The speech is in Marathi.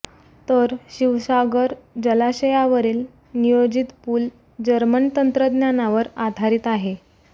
तर शिवसागर जलाशयावरील नियोजित पूल जर्मन तंत्रज्ञानावर आधारित आहे